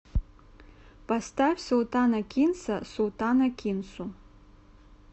поставь султана кинса султана кинсу